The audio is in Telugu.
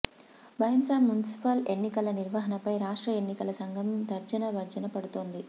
భైంసా మున్సిపల్ ఎన్నికల నిర్వహణపై రాష్ట్ర ఎన్నికల సంఘం తర్జన భర్జన పడుతోంది